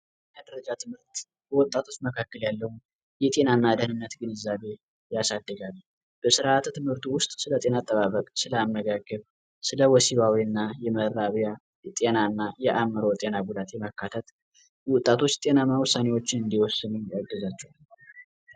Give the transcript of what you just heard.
መረጃ ትምህርት በወጣቶች መካከል ያለው የጤናና ደህንነት ግንዛቤ ትምህርት ውስጥ ስለጤና አጠባበቅ አመጋገብ ወሲባዊ እና የመራቢያ ጤናና የአእምሮ ጤና ጉዳቴ መከተል ወጣቶች ጤናማ ውሳኔዎችን እንዲወስነ ያግዛቸዋል